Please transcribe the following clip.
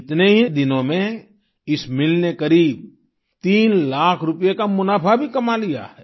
इतने ही दिनों में इस मिल ने करीब तीन लाख रूपये का मुनाफ़ा भी कमा लिया है